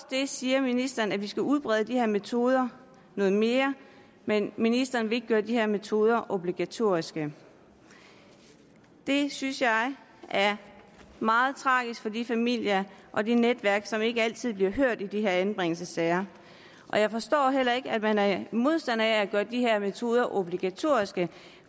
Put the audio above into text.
det siger ministeren at vi skal udbrede de her metoder noget mere men ministeren vil ikke gøre de her metoder obligatoriske det synes jeg er meget tragisk for de familier og netværk som ikke altid bliver hørt i de her anbringelsessager jeg forstår heller ikke at man er modstander af at gøre de her metoder obligatoriske